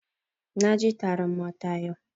Na je taron mata yau